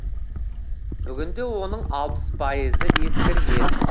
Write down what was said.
бүгінде оның алпыс пайызы ескірген